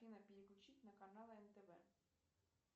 переключить на канал нтв